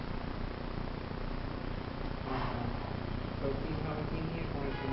আচ্ছা তো কিভাবে কি দিয়ে করেছিল